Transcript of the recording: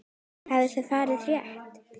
Hefur það verið rætt?